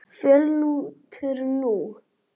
Fljótur nú!